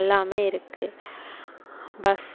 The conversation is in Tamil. எல்லாமே இருக்கு. bus